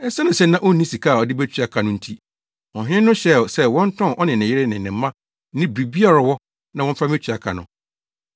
Esiane sɛ na onni sika a ɔde betua ka no nti, ɔhene no hyɛɛ sɛ wɔntɔn ɔne ne yere ne ne mma ne biribiara a ɔwɔ, na wɔmfa mmetua ka no.